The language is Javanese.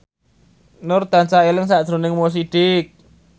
Nur tansah eling sakjroning Mo Sidik